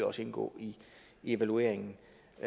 også indgå i evalueringen